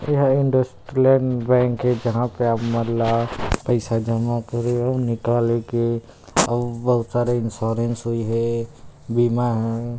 ए हे इंडसइंड बैंक ए जहाँ पे आप मन ला पइसा जमा करे अउ निकाले के अउ बहुत सारा इन्शुरन्स होई हे बिमा हे।